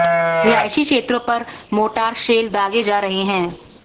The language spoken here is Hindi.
रिहायशी क्षेत्रों पर मोर्टार शेल दागे जा रहे हैं